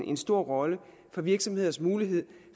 en stor rolle for virksomheders mulighed